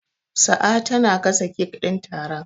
Sa'a tana gasa cake din taron.